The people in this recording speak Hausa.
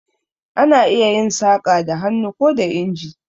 Ana iya yin saƙa da hannu ko da inji.